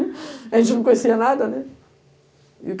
A gente não conhecia nada, né?